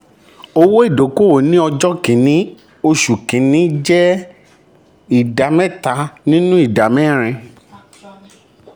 owó ìdókòwò ní ọjọ́ kìíní oṣù kìíní jẹ́ oṣù kìíní jẹ́ ìdá mẹ́ta nínú ìdá mẹ́rin.